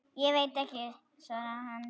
Ég veit ekki, svaraði hann.